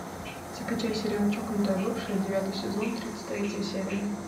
закачай сериал чокнутая бывшая девятый сезон тридцать третья серия